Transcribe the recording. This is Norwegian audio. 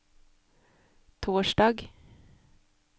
torsdag